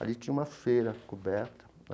Ali tinha uma feira coberta.